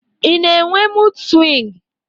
I na-enwe mud swingu?